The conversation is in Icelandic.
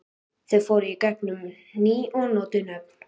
Þau fóru í gegn um ný og notuð nöfn.